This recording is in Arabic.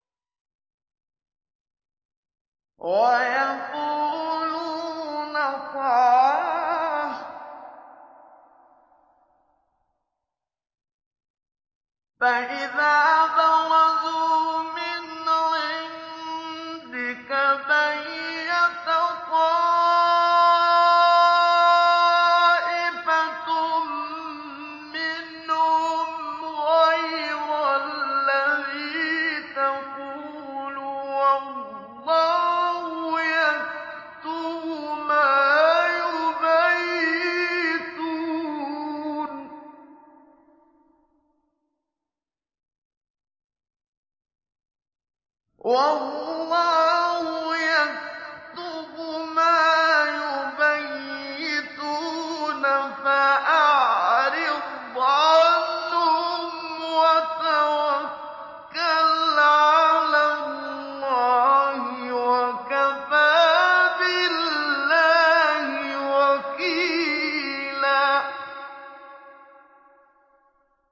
وَيَقُولُونَ طَاعَةٌ فَإِذَا بَرَزُوا مِنْ عِندِكَ بَيَّتَ طَائِفَةٌ مِّنْهُمْ غَيْرَ الَّذِي تَقُولُ ۖ وَاللَّهُ يَكْتُبُ مَا يُبَيِّتُونَ ۖ فَأَعْرِضْ عَنْهُمْ وَتَوَكَّلْ عَلَى اللَّهِ ۚ وَكَفَىٰ بِاللَّهِ وَكِيلًا